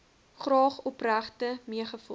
graag opregte meegevoel